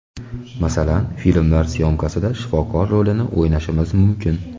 Masalan, filmlar syomkasida shifokor rolini o‘ynashimiz mumkin.